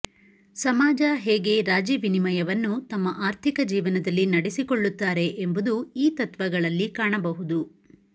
ಸಮಾಜ ಹೇಗೆ ರಾಜಿ ವಿನಿಮಯವನ್ನು ತಮ್ಮ ಆರ್ಥಿಕ ಜೀವನದಲ್ಲಿ ನಡೆಸಿಕೊಳುತ್ತಾರೆ ಎಂಬುದು ಈ ತತ್ವಗಳಲ್ಲಿ ಕಾಣಬಹುಇದು